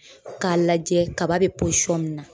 K'a lajɛ kaba bɛ min na